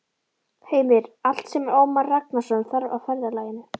Heimir: Allt sem Ómar Ragnarsson þarf á ferðalaginu?